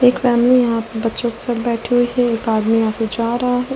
एक फैमिली यहां बच्चों के साथ बैठी हुई है एक आदमी यहां से जा रहा है।